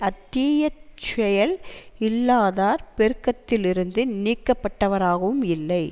அத் தீ செயல் இல்லாதார் பெருக்கத்திலிருந்து நீக்கப்பட்டவராகவும் இல்லை